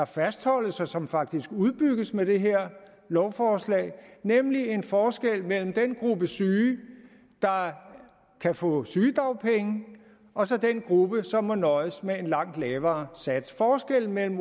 fastholdes og som faktisk udbygges med det her lovforslag nemlig en forskel mellem den gruppe syge der kan få sygedagpenge og så den gruppe som må nøjes med en langt lavere sats forskellen mellem